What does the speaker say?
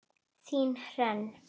Þín Hrönn.